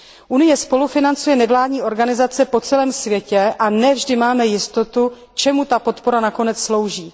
Unie spolufinancuje nevládní organizace po celém světě a ne vždy máme jistotu, k čemu ta podpora nakonec slouží.